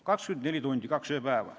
24 tundi, 1 ööpäev.